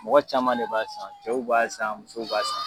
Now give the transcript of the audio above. Mɔgɔ caman de b'a san cɛw b'a san musow b'a san.